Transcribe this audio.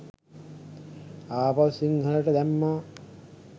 ආපහු සිංහලට දැම්මා